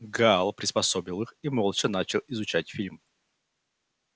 гаал приспособил их и молча начал изучать фильм